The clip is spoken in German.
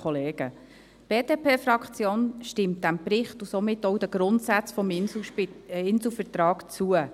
Die BDP-Fraktion stimmt dem Bericht und somit auch den Grundsätzen des Inselvertrags zu.